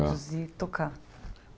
Produzir, tocar.